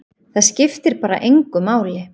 Það skiptir bara engu máli.